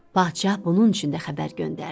Padşah bunun üçün də xəbər göndərdi.